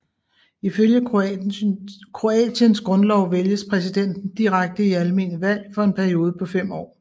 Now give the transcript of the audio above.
I følge Kroatiens grundlov vælges præsidenten direkte i almene valg for en periode på fem år